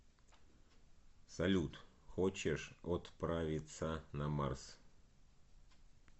салют хочешь отправиться на марс